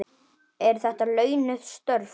Eru þetta launuð störf?